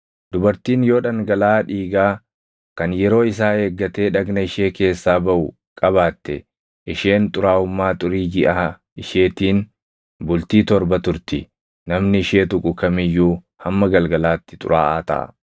“ ‘Dubartiin yoo dhangalaʼaa dhiigaa kan yeroo isaa eeggatee dhagna ishee keessaa baʼu qabaatte, isheen xuraaʼummaa xurii jiʼaa isheetiin bultii torba turti; namni ishee tuqu kam iyyuu hamma galgalaatti xuraaʼaa taʼa.